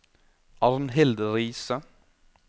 Arnhild Riise